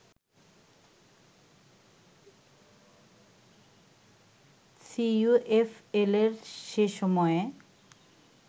সিইউএফএল’র সে সময়ে